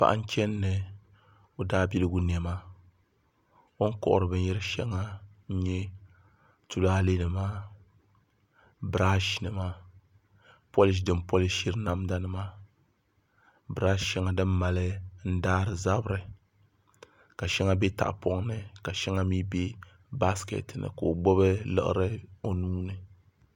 Paɣa n chɛni ni o daabiligu niɛma o ni kohari binyɛri shɛŋa n nyɛ tulaalɛ nima biraash nima polish din polishiri namda nima birash shɛŋa din mali daari zabiri ka shɛŋa bɛ tahapoŋ ni ka shɛŋa mii bɛ baskɛt ni ka o gbubi laɣari o nuuni